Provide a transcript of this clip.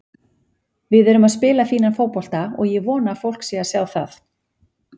Við erum að spila fínan fótbolta og ég vona að fólk sé að sjá það.